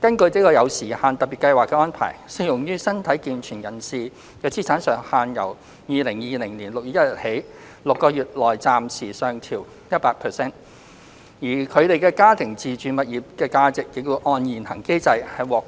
根據這有時限的特別計劃的安排，適用於身體健全人士的資產上限由2020年6月1日起6個月內暫時上調 100%， 而他們家庭的自住物業的價值亦會按現行機制獲